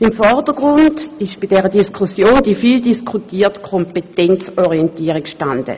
Im Vordergrund stand bei dieser Diskussion die vieldiskutierte Kompetenzorientierung.